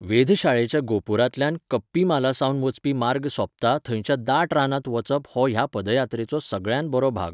वेधशाळेच्या गोपुरांतल्यान कप्पीमालासावन वचपी मार्ग सोंपता थंयच्या दाट रानांत वचप हो ह्या पदयात्राचो सगळ्यांत बरो भाग.